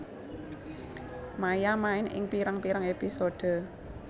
Maia main ing pirang pirang episode